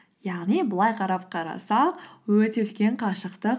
яғни былай қарап қарасақ өте үлкен қашықтық